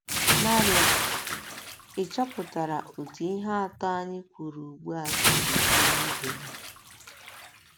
narios? Ị̀ chọpụtara otú ihe atọ a anyị kwupụrụ ugbu a si yie ibe ha?